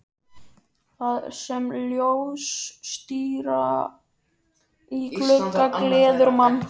Þar sem ljóstíra í glugga gleður mann.